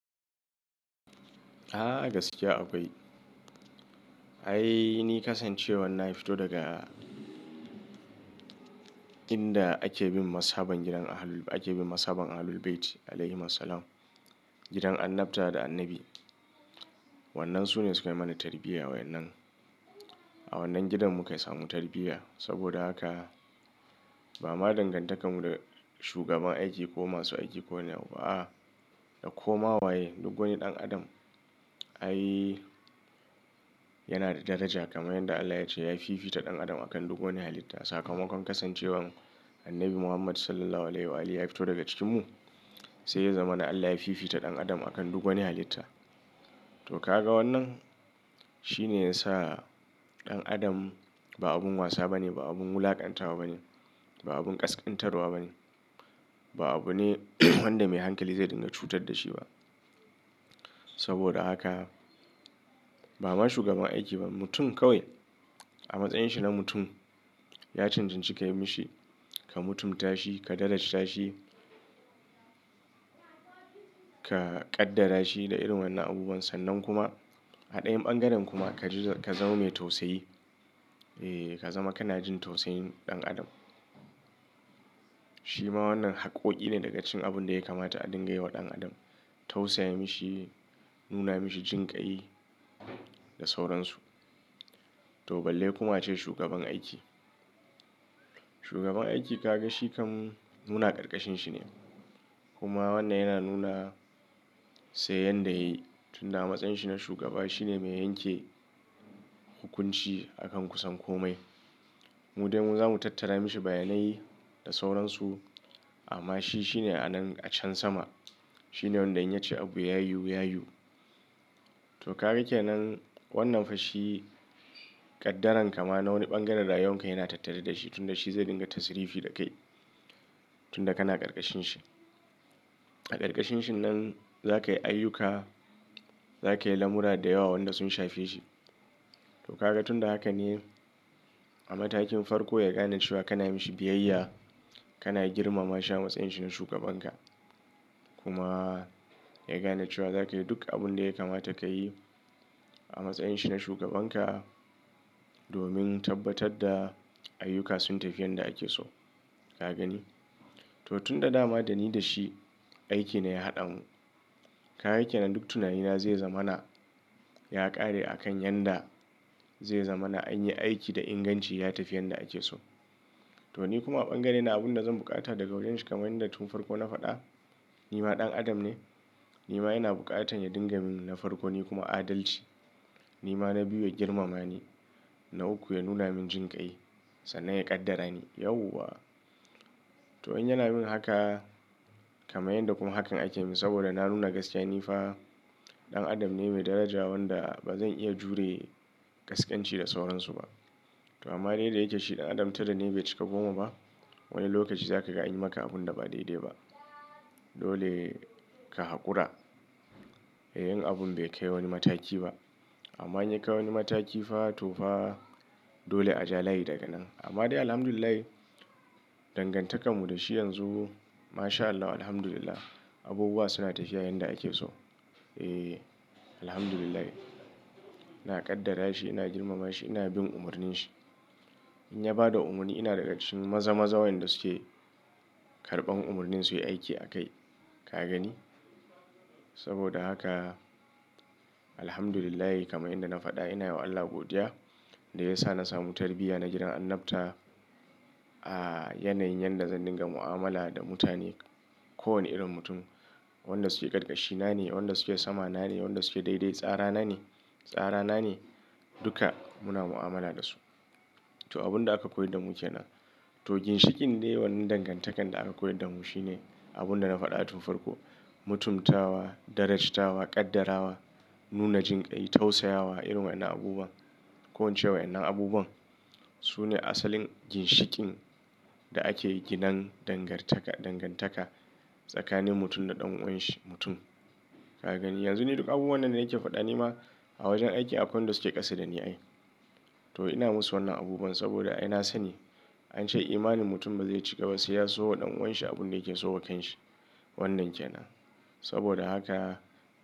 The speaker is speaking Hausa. A'a gaskiya akwai. Ai ni kasancewar na fito daga inda ake bin mashaban gidan Ahlul-- ake bin mashaban Ahlul Bayti “Alaihimus Salam”, gidan annabta da annabi. Wannan su ne suka mana tarbiyya wayannan. A wannan gidan mu ka samu tarbiyya. Saboda haka ba ma dangantakar mu da shugaban aiki ko masu aiki ko wane abu ba, a, da koma waye duk wani ɗan adam ai yana da daraja kamar yanda Allah yace ya fifita ɗan adam akan duk wani halitta. Sakamakon kasancewar annabi Muhammad “Sallallahu Alaihi Wasallam” ya fito daga cikinmu, sai ya zama na Allah ya fifita ɗan adam akan duk wani halitta. Toh ka ga wannan? Shi ne ya sa ɗan adam ba abun wasa ba ne, ba abun wulakantawa ba ne, ba abun ƙasƙantarwa ba ne, ba abu ne wanda mai hankali zai dinga cutar da shi ba. Saboda haka ba ma shugaban aiki ba, mutum kawai a matsayin shi na mutum. Ya cancanci ka yi mishi, ka mutumtashi, ka darajta shi, ka ƙaddara shi da irin wayannan abubuwan sannan kuma a ɗayan ɓangaren kuma ka ji-- ka zama mai tausayi. Eh, ka zama kana jin tausayin ɗan adam. Shi ma wannan haƙƙoƙi ne daga cikin abun da ya kamata a dinga yi wa ɗan adam. Tausaya mishi, nuna mishi jinƙai da sauransu. To balle kuma ce shugaban aiki. Shugaban aiki ka gan shi kam mu na karkashin shi ne. Kuma wannan yana nuna sai yanda ya yi tunda a matsayin shi na shugaba shi ne mai yanke hukunci a kan kusan kome. Mu dai mu zamu tattara mishi bayanai da sauransu amma shi shine a nan a can sama. Shi ne wanda in ya ce abu ya yiwu, ya yiwu. Toh ka gan kenan wannan fa shi, ƙaddaran ka ma na wani ɓangaren rayuwan ka yana tattare da shi tunda shi zai dinga tasirifi da kai tunda kana karkashin shi. A karkashin shi nan za ka yi ayyuka, za ka yi lamura da yawa wanda sun shafe shi. Toh ka gan tun da haka ne a matakin farko ya gane cewa kana yi mishi biyayya, kana girmama shi a matsayin shi na shugaban ka. Kuma ya gane cewa za ka yi duk abun da ya kamata ka yi a matsayin shi na shugaban ka domin tabbatar da ayyuka sun tafi yanda ake so. Ka gani? Toh tun da dama da ni da shi aiki ne ya haɗa mu. Ka gan kenan duk tunanina zai zama na ya ƙare a kan yanda zai zamana an yi aiki da inganci ya tafi yanda ake so. Toh ni kuma a ɓangare na abunda zan buƙata daga wurin shi kamar yanda tun farko na faɗa, ni ma ɗan adam ne. Ni ma ina buƙatar ya dinga min na farko ni kuma adalci. Ni ma na biyu ya girmama ni. Na uku ya nuna min jinƙai sannan ya ƙaddara ni. Yauwa! Toh in yana min haka kamar yanda kuma hakan ake min saboda na nuna gaskiya ni fa ɗan adam ne mai daraja wanda ba zan iya jure ƙasƙanci da sauransu ba. Toh amma dai da yake shi ɗan adam tara ne bai cika goma ba. Wani lokaci za ka ga anyi maka abun da ba daidai ba. Dole ka haƙura. In abun bai kai wani mataki ba. Amma in ya kai wani mataki fa to fa dole a ja layi daga nan. Amma dai Alhamdulillah dangantakar mu da shi yanzu Maa Shaa Allah Alhamdulillah abubuwa suna tafiya yanda ake so. Eh, Alhamdulillah. Ina ƙaddara shi, ina girmama shi, ina bin umarnin shi. In ya ba da umarni ina daga cikin maza-maza wayanda suke karɓan umarnin su yi aiki a kai. Ka gani? Saboda haka Alhamdulillah kamar inda na faɗa ina yi wa Allah godiya da ya sa na samu tarbiyya na gidan annabta a yanayin yanda zan dinga mu'amala da mutane. Ko wani irin mutum wanda suke karkashi na ne, wanda suke sama na ne, wanda suke daidai tsara na ne, tsara na ne duka muna mu'amala da su. Toh abunda aka koyar da mu kenan. Toh ginshikin ne wannan dangantakan da aka koyar da mu shine abun da na faɗa tun farko. Mutumtawa, darajtawa, ƙaddara wa, nuna jinƙai, tausayawa irin wayannan abubuwan. Ko in ce wayannan abubuwan su ne asalin ginshikin da ake ginan dangartaka-- dangantaka tsakanin mutum da ɗan'uwan shi mutum. Ka gani? Yanzu ni duk abubuwan nan da nake faɗa ni ma a wajen aiki akwai wadanda suke ƙasa da ni ai. Toh ina musu wannan abubuwan saboda ai na sani an ce imanin mutum ba zai cika ba sai ya so wa ɗan'uwan shi abun da yake so wa kan shi. Wannan ke nan. Saboda haka.